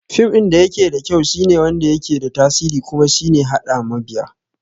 Fim ɗin dayake da kyau shine wanda yake da tasiri kuma shine haɗa mabiya